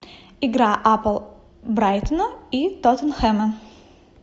игра апл брайтона и тоттенхэма